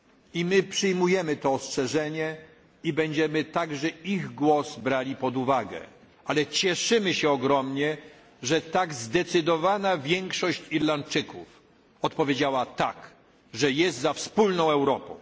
czymś ostrzec. I my przyjmujemy to ostrzeżenie i będziemy także ich głos brali pod uwagę, ale cieszymy się ogromnie, że tak zdecydowana większość Irlandczyków odpowiedziała tak, że jest za wspólną